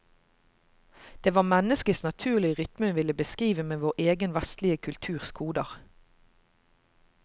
Det var menneskets naturlige rytme hun ville beskrive med vår egen vestlige kulturs koder.